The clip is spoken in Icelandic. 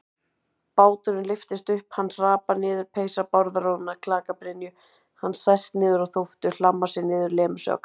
Báturinn lyftist upp, hann hrapar niður, peysa Bárðar er orðin að klakabrynju, hann sest niður á þóftu, hlammar sér niður, lemur sig ákaft.